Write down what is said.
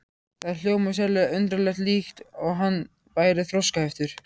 Það hljómaði sérlega undarlega, líkt og hann væri þroskaheftur.